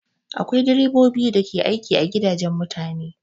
Akwai direbobi da ke aiki a gidajen mutane